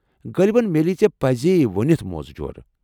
غٲلبن میلی ژےٚ پزی وُنِتھ موزٕ جوُرِ ۔